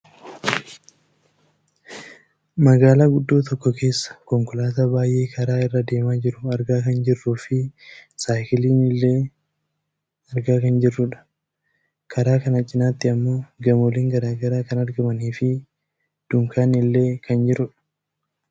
magaalaa guddoo tokko keessa konkolaataa baayyee karaa irra deemaa jiru argaa kan jirru fi saayikilii illee argaa kan jirrudha . karaa kana cinaatti ammoo gamooleen gara garaa kan argamaniifi dunkaanni illee kan jirudha.